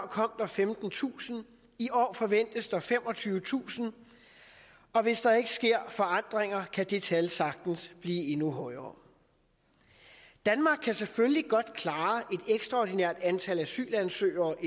kom der femtentusind i år forventes der femogtyvetusind og hvis der ikke sker forandringer kan det tal sagtens blive endnu højere danmark kan selvfølgelig godt klare et ekstraordinært antal asylansøgere